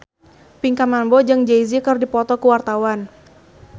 Pinkan Mambo jeung Jay Z keur dipoto ku wartawan